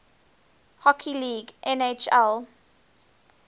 hockey league nhl